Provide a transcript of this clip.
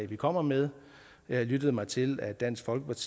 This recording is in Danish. vi kommer med jeg lyttede mig til at dansk folkeparti